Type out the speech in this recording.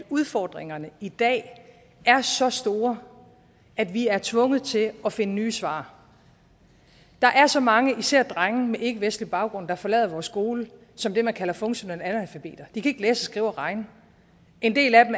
udfordringerne i dag er så store at vi er tvunget til at finde nye svar der er så mange især drenge med ikkevestlig baggrund der forlader vores skole som det man kalder funktionelle analfabeter de kan ikke læse skrive og regne og en del af dem